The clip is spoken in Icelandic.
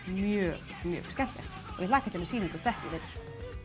ég hlakka til að sýna ykkur þetta í vetur